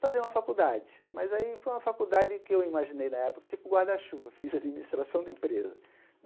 fazer uma faculdade, mas aí foi uma faculdade que eu imaginei na época tipo guarda-chuva, fiz administração de empresa.